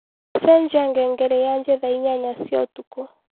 cenjĩa ngengere yaanjĩe thaaĩnyanya cĩaũtũkũ